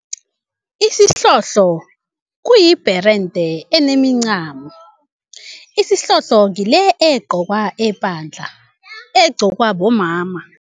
Isihlohlo kuyibherende enemincamo. Isihlohlo ngile egqokwa epandla, egqokwa bomama.